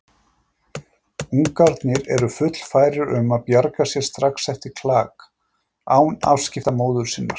Ungarnir eru fullfærir um að bjarga sér strax eftir klak, án afskipta móður sinnar.